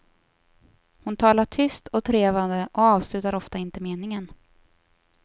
Hon talar tyst och trevande och avslutar ofta inte meningen.